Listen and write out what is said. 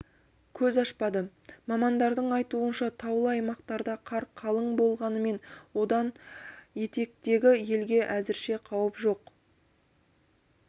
көз ашпады мамандардың айтуынша таулы аймақтарда қар қалың болғанымен одан етектегі елге әзірше қауіп жоқ